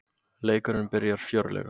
Leikurinn byrjar fjörlega